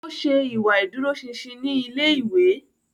O ṣe ìwà ìdúróṣinṣin ni ilé-ìwé